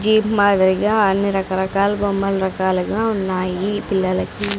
Jeep మాదిరిగా అన్ని రకరకాల బొమ్మల రకాలుగా ఉన్నాయి పిల్లలకి.